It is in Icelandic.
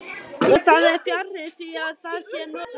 Og það er fjarri því að það sé notalegt.